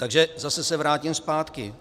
Takže zase se vrátím zpátky.